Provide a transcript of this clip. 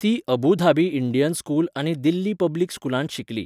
ती Abu Dhabi Indian school आनी Delhi public स्कूलांत शिकली.